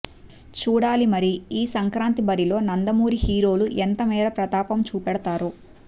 చూడాలి మరి ఈ సంక్రాంతి బరిలో నందమూరి హీరోలు ఎంతమేర ప్రతాపం చూపెడుతారో